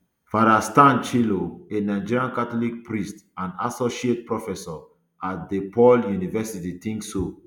father stan chu ilo a nigerian catholic priest and associate professor at depaul university think so